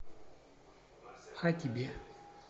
а тебе